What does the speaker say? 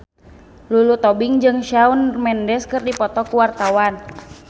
Lulu Tobing jeung Shawn Mendes keur dipoto ku wartawan